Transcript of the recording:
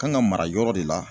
Kan ŋa mara yɔrɔ de la